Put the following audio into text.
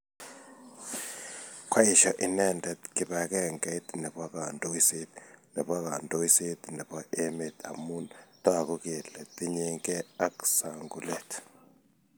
Koeshio inendet kibangengeit nebo kandoiset nebo kandoiset nebo emet amun toku kele tinyekei ak sungulet